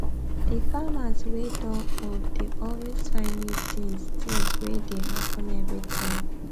the farmers wey don old dey always find new tins tins wey dey happen everytime